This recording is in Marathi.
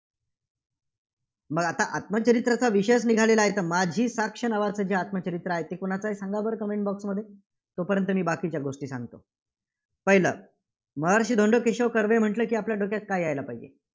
मग आता आत्मचरित्राचा विषयचं निघाला आहेत, तर माझी साक्ष नावाचं जे आत्मचरित्र आहे, ते कुणाचं आहे सांगा बरं? comment box मध्ये. तोपर्यंत मी बाकीच्या गोष्टी सांगतो. पहिलं महर्षी धोंडो केशव कर्वे म्हटलं की आपल्या डोक्यात काय यायला पाहिजे?